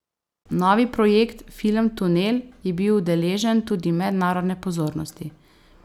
Novi projekt, film Tunel, je bil deležen tudi mednarodne pozornosti.